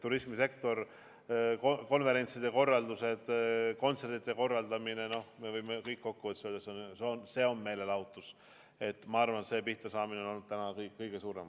Turismisektor, konverentside korraldamine, kontsertide korraldamine – me võime kokku võttes öelda, et see kõik on meelelahutus –, ma arvan, et seal on pihtasaamine olnud praegu vast kõige suurem.